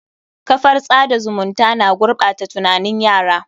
Kafar tsada zumunta na gurɓata tunanin yara.